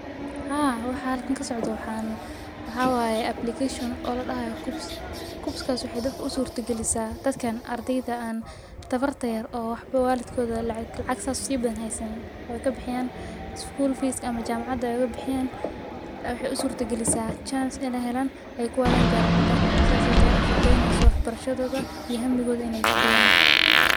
Haa, waxaa halkan ka socdo. Waxaan waxo waaye application oladahayo KUCCPS. KUCCPS kaas waxay dadku u suurto gelisaa dadka ardayda aan dabarta yaar oo waxbo waalidkooda lacag lacag saas si badan haysan. Way ka bixiyaan school fees ama jamacadaaga ka bixiyaan. Waxay u suurto gelisaa chance in ay helaan inay ku aadan jamcada saasay u fududeynisu waxbarshadoodu iyo hamigood inay fudiyaan.